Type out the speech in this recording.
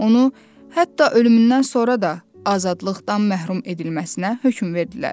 Onu hətta ölümündən sonra da azadlıqdan məhrum edilməsinə hökm verdilər.